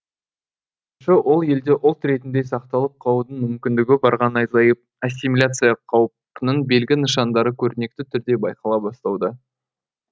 ол елде ұлт ретінде сақталып қалудың мүмкіндігі барған азайып ассимиляция қаупінің белгі нышандары көрнекті түрде байқала бастауда